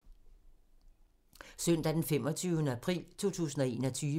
Søndag d. 25. april 2021